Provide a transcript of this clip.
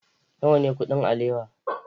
Nawa ne kuɗin alewa?